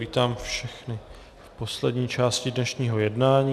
Vítám všechny v poslední části dnešního jednání.